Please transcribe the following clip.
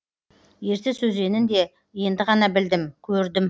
ертіс өзенін де енді ғана білдім көрдім